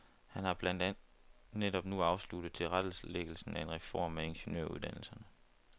Han har blandt andet netop nu afsluttet tilrettelæggelsen af en reform af ingeniøruddannelserne.